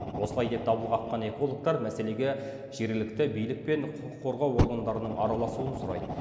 осылай деп дабыл қаққан экологтар мәселеге жергілікті билік пен құқық қорғау органдарының араласуын сұрайды